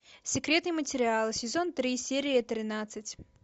секретные материалы сезон три серия тринадцать